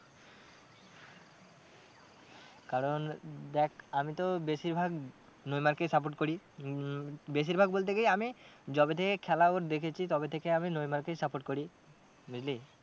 কারণ দেখ আমি তো বেশির ভাগ নেইমার কেই support করি উম বেশির ভাগ বলতে কি আমি যবে থেকে খেলা ওর দেখেছি তবে থেকে আমি নেইমার কেই support করি বুঝলি।